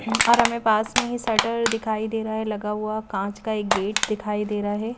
और हमें पास में ही शटर दिखाई दे रहा है लगा हुआ कांच का एक गेट दिखाई दे रहा है।